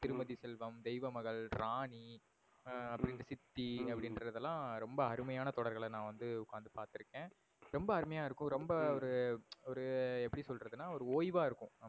திருமதி செல்வம், தெய்வமகள், ராணி, எர் சித்தி அப்டினுரதுலாம் ரொம்ப அருமையான தொடர்கள்ளலாம் நா வந்து ஒகாந்து பாத்து இருக்கன். ரொம்ப அருமையா இருக்கும் ரொம்ப ஒரு ஒரு எப்படி சொல்றதுனா ஒரு ஒய்வா இருக்கும்.